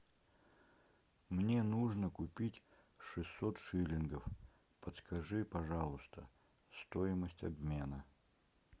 мне нужно купить шестьсот шиллингов подскажи пожалуйста стоимость обмена